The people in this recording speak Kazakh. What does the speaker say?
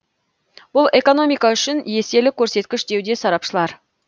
бұл экономика үшін еселі көрсеткіш деуде сарапшылар